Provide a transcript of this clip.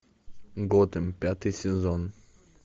готэм пятый сезон